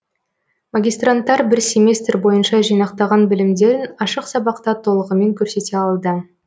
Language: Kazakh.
магистранттар бір семестр бойынша жинақтаған білімдерін ашық сабақта толығымен көрсете алды